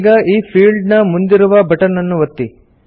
ಈಗ ಈ ಫೀಲ್ಡ್ ನ ಮುಂದಿರುವ ಬಟನ್ ಅನ್ನು ಒತ್ತಿ